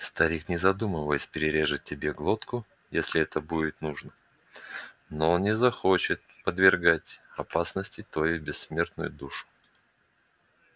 старик не задумываясь перережет тебе глотку если это будет нужно но он не захочет подвергать опасности твою бессмертную душу